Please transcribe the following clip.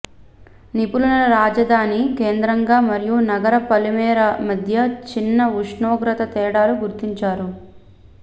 నిపుణులు రాజధాని కేంద్రంగా మరియు నగర పొలిమేర మధ్య చిన్న ఉష్ణోగ్రత తేడాలు గుర్తించారు